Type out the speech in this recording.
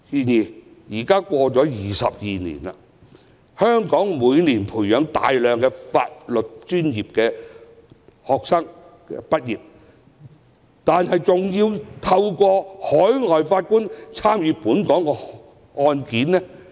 然而 ，22 年已過去，香港每年培訓出大量法律專業的畢業生，卻依然要借助海外法官審議本港的案件。